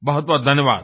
बहुत बहुत धन्यवाद